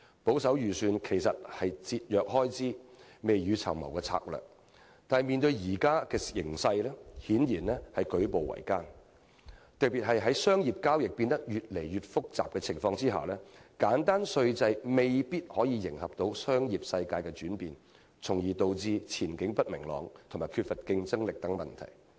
保守預算原本是節約開支、未雨綢繆的策略，但面對現今形勢，顯然令我們舉步維艱，特別是在商業交易變得越來越複雜的情況下，簡單稅制未必能夠迎合商業世界的轉變，從而導致前景不明朗及缺乏競爭力等問題。